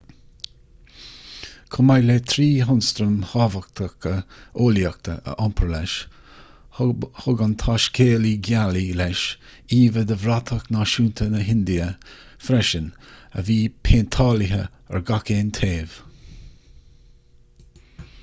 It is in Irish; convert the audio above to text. chomh maith le trí hionstraim thábhachtacha eolaíochta a iompar leis thug an taiscéalaí gealaí leis íomha de bhratach náisiúnta na hindia freisin a bhí péinteáilte ar gach aon taobh